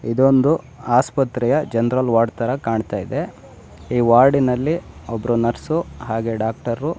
ಇದೊಂದು ಆಸ್ಪತ್ರೆಯ general ward ತರ ಕಾಣತಾಯಿದೆ. ಈ ವಾರ್ಡಿ ನಲ್ಲಿಒಬ್ಬ ನರ್ಸ್ಸು ಹಾಗೆ ಡಾಕ್ಟರು --